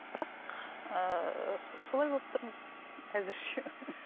бірақ ыыы солай болып тұрмыз әзірше